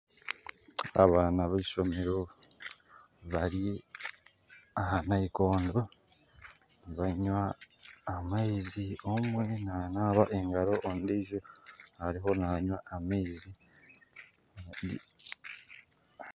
Abaana b'ishomeero bari aha nayikondo nibanywa amaizi omwe nanamba engaro ondijo ariho nanywa amaizi